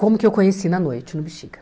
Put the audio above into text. Como que eu conheci na noite, no Bixiga?